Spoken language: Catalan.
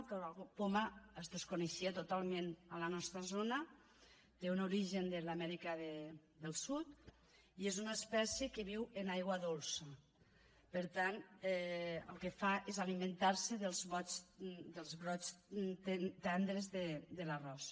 el caragol poma es desconeixia totalment a la nostra zona té un origen de l’amèrica del sud i és una espècie que viu en aigua dolça per tant el que fa és alimentar se dels brots tendres de l’arròs